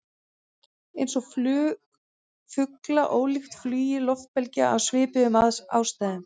Eins er flug fugla ólíkt flugi loftbelgja, af svipuðum ástæðum.